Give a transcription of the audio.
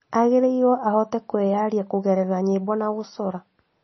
Agĩrĩirwo ahote kwĩyaria kũgerera nyĩmbo na gũcora